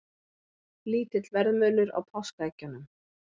Lítill verðmunur á páskaeggjunum